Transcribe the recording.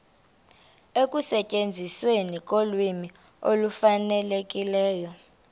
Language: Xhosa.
ekusetyenzisweni kolwimi olufanelekileyo